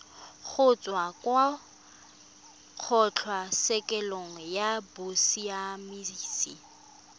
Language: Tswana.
kgotsa kwa kgotlatshekelo ya bosiamisi